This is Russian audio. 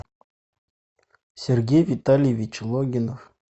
сергей витальевич логинов